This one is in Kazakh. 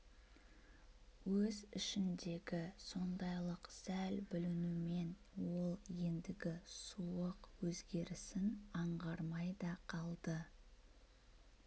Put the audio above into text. өз ішіндегі сондайлық сәл бүлінумен ол ендігі суық өзгерісін аңғармай да қалды